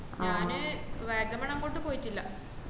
വാഗമണ് അങ്ങോട്ട് പോയിട്ടില്ല